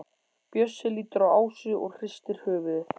Bjössi lítur á Ásu og hristir höfuðið.